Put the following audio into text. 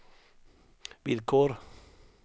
villkor